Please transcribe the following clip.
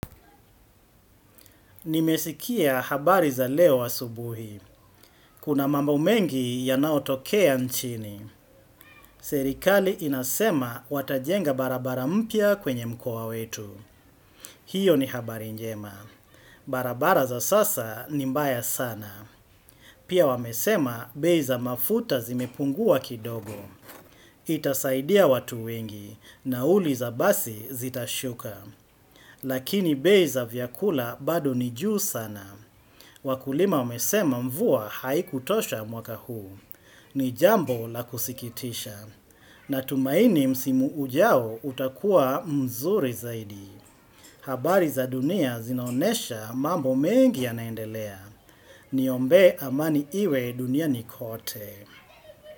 Nimesikia habari za leo asubuhi. Kuna mambo mengi yanaotokea nchini. Serikali inasema watajenga barabara mpya kwenye mkoa wetu. Hiyo ni habari njema. Barabara za sasa ni mbaya sana. Pia wamesema bei za mafuta zimepungua kidogo. Itasaidia watu wengi nauli za basi zitashuka. Lakini bei za vyakula bado ni juu sana. Wakulima wamesema mvua haikutosha mwaka huu. Ni jambo la kusikitisha. Natumaini msimu ujao utakuwa mzuri zaidi. Habari za dunia zinaonesha mambo mengi yanaendelea. Niombee amani iwe duniani kote.